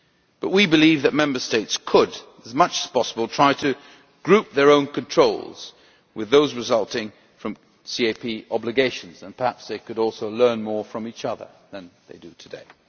But we believe that Member States could, in so far as possible, try to group their own controls with those resulting from CAP obligations, and perhaps they could also learn more from each other than they do today.